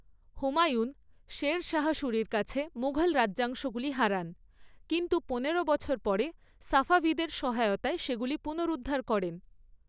হুমায়ুন শের শাহ সুরির কাছে মুঘল রাজ্যাংশগুলি হারান, কিন্তু পনেরো বছর পরে সাফাভিদের সহায়তায় সেগুলি পুনরুদ্ধার করেন।